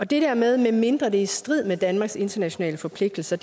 det der medmindre det i strid med danmarks internationale forpligtelser